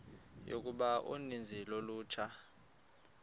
yokuba uninzi lolutsha